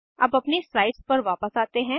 अब अपनी स्लाइड्स पर वापस जाते हैं